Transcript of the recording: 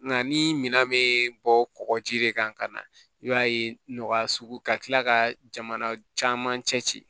Nka ni minan bɛ bɔ kɔkɔji de kan ka na i b'a ye nɔgɔya sugu ka tila ka jamana caman cɛ ci ci